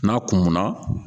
N'a kunkunna